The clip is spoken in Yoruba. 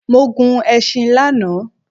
Mo gun ẹṣin lana